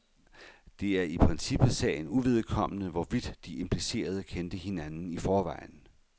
Det er i princippet sagen uvedkommende, hvorvidt de implicerede kendte hinanden i forvejen.